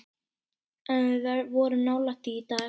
En við vorum nálægt því í dag.